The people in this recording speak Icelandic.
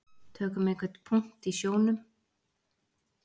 Tökum einhvern punkt í sjónum.